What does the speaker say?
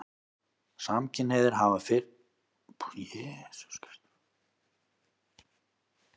Samkynhneigðir hafa hins vegar fyrst og fremst verið skilgreindir út frá kynhneigð sinni.